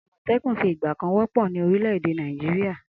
Amotekun fi ìgbà kan wọ́pọ̀ ní orílè èdè Nàìjíríà